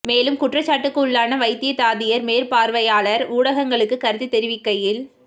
மேலும் குற்றச்சாட்டிற்குள்ளான வைத்திய தாதியர் மேற்பார்வையாளர் ஊடகங்களுக்கு கருத்து தெரிவிக்கையில்